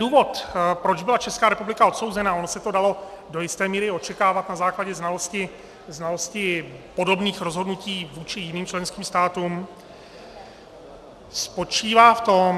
Důvod, proč byla Česká republika odsouzena, ono se to dalo do jisté míry očekávat na základě znalostí podobných rozhodnutí vůči jiným členským státům, spočívá v tom...